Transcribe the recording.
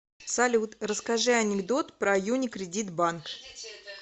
салют расскажи анекдот про юникредит банк